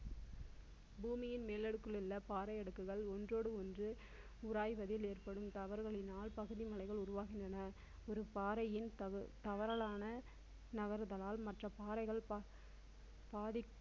பூமியின் மேல் அடுக்கில் உள்ள பாறை அடுக்குகள் ஒன்றோடு ஒன்று உராய்வதில் ஏற்படும் தவறுகளினால் பகுதி மலைகள் உருவாகின்றன. ஒரு பாறையின் தவறு~ தவறலான நகருதலால் மற்ற பாறைகள் பாதிக்கும்